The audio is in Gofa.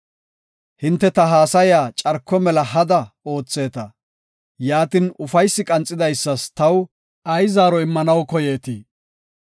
Hinte ta haasaya carko mela hada ootheeta; Yaatin, ufaysi qanxidaysas taw ay zaaro immanaw koyeetii?